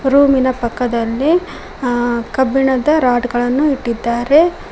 ರೂಮಿನ ಪಕ್ಕದಲ್ಲಿ ಆ ಕಬ್ಬಿಣದ ರಾಡ್ ಗಳನ್ನು ಇಟ್ಟಿದ್ದಾರೆ.